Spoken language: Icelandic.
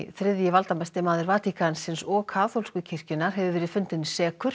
þriðji valdamesti maður Vatíkansins og kaþólsku kirkjunnar hefur verið fundinn sekur